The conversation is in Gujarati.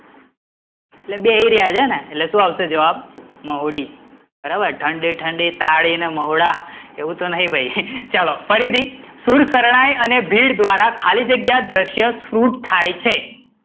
એટલે બેસી રહ્યા છે ને એટલે શું આવશે જવાબ મહુડી, બરાબર ઠંડી ઠંડી તાળી ને મહુડા એવું તો નઈ ભઈ, ચલો ફરી થી સુર શરણાઈ અને ભીડ દ્વારા ખાલી જગ્યા દ્રષ્ય સ્ફુર થાય છે